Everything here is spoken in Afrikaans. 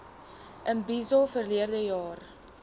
imbizo verlede jaar